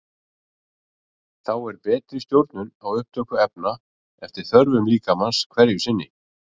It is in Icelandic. Þá er betri stjórnun á upptöku efna eftir þörfum líkamans hverju sinni.